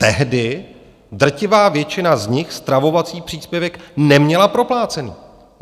Tehdy drtivá většina z nich stravovací příspěvek neměla proplacený.